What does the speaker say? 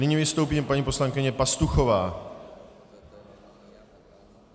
Nyní vystoupí paní poslankyně Pastuchová.